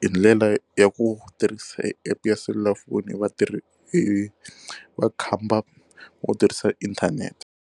hi ndlela ya ku tirhisa epu ya selulafoni vatirhi makhamba u tirhisa inthanete.